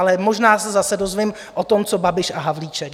Ale možná se zase dozvím o tom, co Babiš a Havlíček.